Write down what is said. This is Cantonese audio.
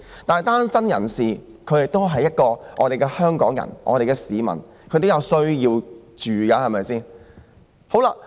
不過，單身人士亦是香港人，是市民，他們同樣需要居住地方。